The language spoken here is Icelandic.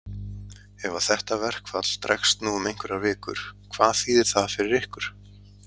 Ef að þetta verkfall dregst nú um einhverjar vikur, hvað þýðir það fyrir ykkur?